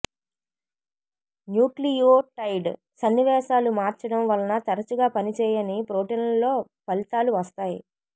nucleotide సన్నివేశాలు మార్చడం వలన తరచుగా పనిచేయని ప్రోటీన్లలో ఫలితాలు వస్తాయి